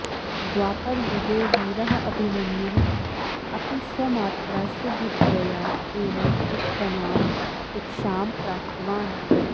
द्वापरयुगे वीरः अभिमन्युः अपि स्वमात्रा सुभद्रया एव उत्तमां शिक्षां प्राप्तवान्